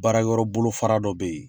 Baara yɔrɔ bolo fara dɔ be ye